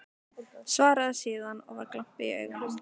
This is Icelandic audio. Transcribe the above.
Svaraði síðan, og var glampi í augunum: